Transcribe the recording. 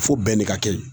Fo bɛnɛ ka kɛ ye